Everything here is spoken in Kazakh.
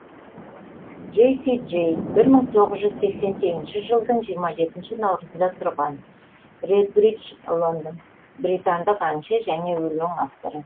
джесси джей бір мың тоғыз жүз сексен сегізінші жылдың жиырма жетінші наурызында тұрған редбридж лондон британдық әнші және өлең авторы